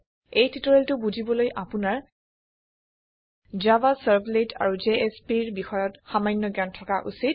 এই টিওটৰিয়েলটো বুজিবলৈ আপুনাৰ জাভা ছাৰ্ভলেট আৰু জেএছপি ৰ বিষয়ত সামান্য জ্ঞান থকা উচিত